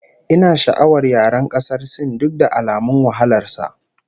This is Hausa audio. Ina sha'awar yaren ƙasar Sin duk da alamun wahalar sa